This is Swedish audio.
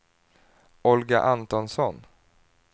Olga Antonsson